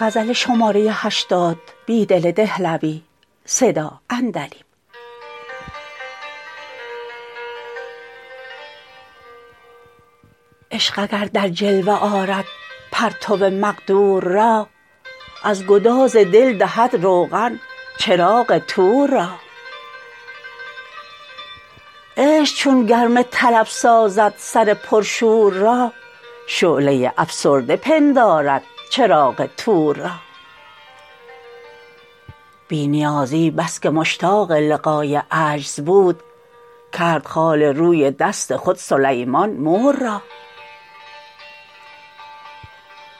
عشق اگر در جلوه آرد پرتو مقدور را از گداز دل دهد روغن چراغ طور را عشق چون گرم طلب سازد سر پرشور را شعله افسرده پندارد چراغ طور را بی نیازی بسکه مشتاق لقای عجز بود کرد خال روی دست خود سلیمان مور را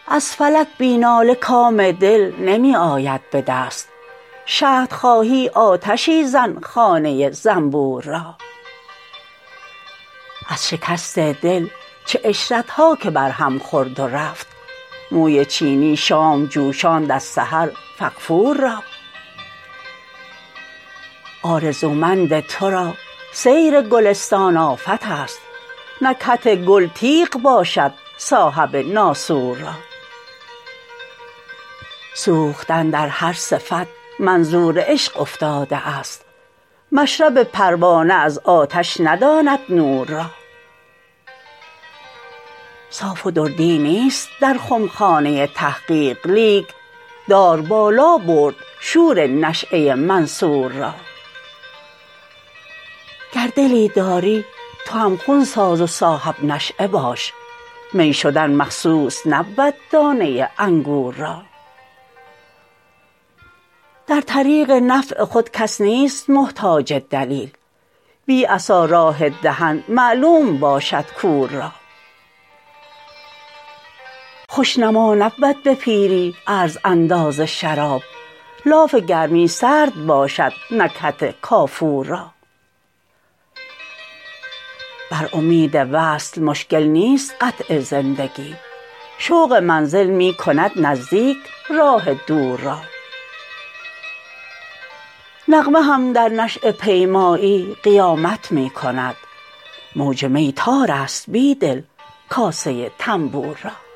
از فلک بی ناله کام دل نمی آید به دست شهد خواهی آتشی زن خانه زنبور را از شکست دل چه عشرت ها که برهم خورد و رفت موی چینی شام جوشاند از سحر فغفور را آرزومند تو را سیر گلستان آفت است نکهت گل تیغ باشد صاحب ناسور را سوختن در هر صفت منظور عشق افتاده است مشرب پروانه از آتش نداند نور را صاف و دردی نیست در خمخانه تحقیق لیک دار بالا برد شور نشیه منصور را گر دلی داری تو هم خون ساز و صاحب نشیه باش می شدن مخصوص نبود دانه انگور را در طریق نفع خود کس نیست محتاج دلیل بی عصا راه دهن معلوم باشد کور را خوش نما نبود به پیری عرض انداز شباب لاف گرمی سرد باشد نکهت کافور را بر امید وصل مشکل نیست قطع زندگی شوق منزل می کند نزدیک راه دور را نغمه هم در نشیه پیمایی قیامت می کند موج می تار است بیدل کاسه طنبور را